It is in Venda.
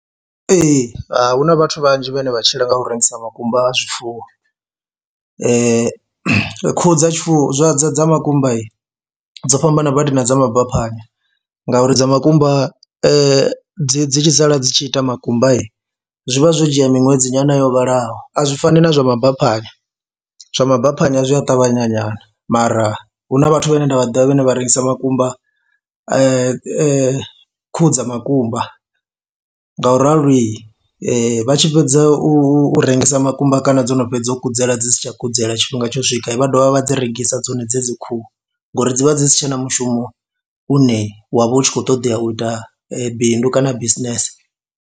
Ee, hu na vhathu vhanzhi vhane vha tshila nga u rengisa makumba a zwifuwo, khuhu dza tshifuwo dza dza dza makumba dzo fhambana badi na dza mabaphanya ngauri dza makumba dzi dzi tshi sala dzi tshi ita makumba zwi vha zwo dzhia miṅwedzi nyana yo vhalaho, a zwi fani na zwa mabaphanya. Zwa mabaphanya zwi a ṱavhanya nyana mara hu na vhathu vhane nda vha ḓivha vhane vha rengisa makumba a khuhu dza makumba nga u rali vha tshi fhedza u rengisa makumba kana dzo no fhedza u kudzela dzi si tsha kudzela tshifhinga tsho swika vha dovha vha dzi rengisa dzone dzedzi khuhu ngori dzi vha dzi si tshe na mushumo une wa vha u tshi khou ṱoḓea u ita bindu kana business.